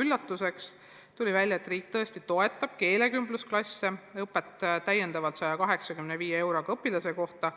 üllatus, aga tuli välja, et riik tõesti toetab keelekümblusklasse ja õpetajaid täiendavalt 185 euroga õpilase kohta.